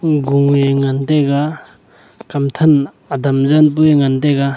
hm gung nge ngan taiga kam than adam zan pu e ngan taiga.